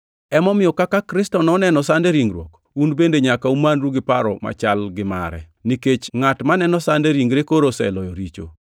Emomiyo kaka Kristo noneno sand e ringruok, un bende nyaka umanru gi paro machal gi mare, nikech ngʼat maneno sand e ringre koro oseloyo richo.